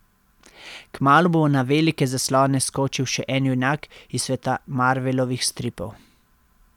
Kmalu bo na velike zaslone skočil še en junak iz sveta Marvelovih stripov.